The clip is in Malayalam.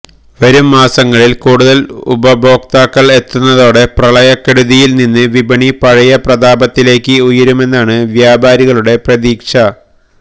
വരും മാസങ്ങളില് കൂടുതല് ഉപഭോക്താക്കള് എത്തുന്നതോടെ പ്രളയക്കെടുതിയില് നിന്ന് വിപണി പഴയ പ്രതാപത്തിലേക്ക് ഉയരുമെന്നാണ് വ്യാപാരികളുടെ പ്രതീക്ഷ